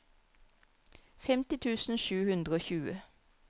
femti tusen sju hundre og tjue